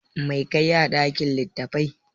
Mai ka yi a ɗakin littattafai?